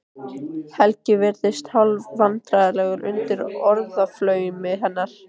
Helgi virðist hálfvandræðalegur undir orðaflaumi hennar.